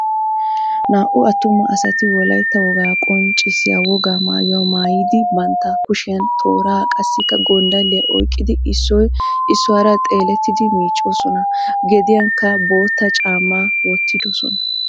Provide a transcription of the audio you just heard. Naa"u attuma asati wolaytta wogaa qonccissiya wogaa maayuwa maayidi bantta kushiyan tooraa qassikka gonddalliya oyqqidi issoy issuwara xeelleettiidi miiccoosona, gediyankka boottaa caamma wottiddosona.